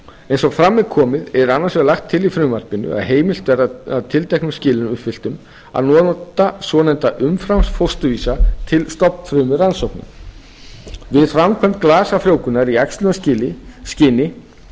eins og fram er komið er annars vegar lagt til í frumvarpinu að tilteknum skilyrðum uppfylltum að nota svonefnda umframfósturvísa til stofnfrumurannsókna við framkvæmd glasafrjóvgunar í æxlunarskyni eru